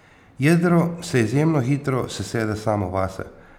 Jedro se izjemno hitro sesede samo vase.